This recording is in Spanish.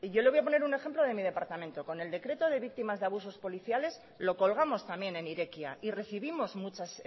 y yo le voy a poner un ejemplo de mi departamento con el decreto de víctimas de abusos policiales lo colgamos también en irekia y recibimos muchas